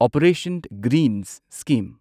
operation greens scheme